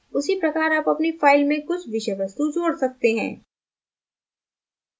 उसी प्रकार आप अपनी file में कुछ विषय वस्तु जोड़ सकते हैं